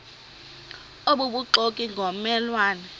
obubuxoki ngomme lwane